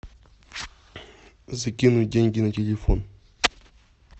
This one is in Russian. закинуть деньги на телефон